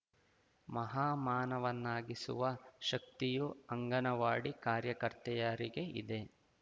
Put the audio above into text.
ಮಹಾ ಮಾನವನ್ನಾಗಿಸುವ ಶಕ್ತಿಯು ಅಂಗನವಾಡಿ ಕಾರ್ಯಕರ್ತೆಯರಿಗೆ ಇದೆ